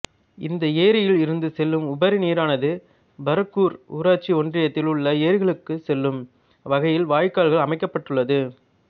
இந்த ஏரியில் இருந்து செல்லும் உபரி நீரானது பர்கூர் ஊராட்சி ஒன்றியத்தில் உள்ள ஏரிகளுக்கு செல்லும் வகையில் வாய்கால் அமைக்கப்பட்டள்ளது